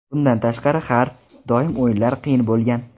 Bundan tashqari, har doim o‘yinlar qiyin bo‘lgan.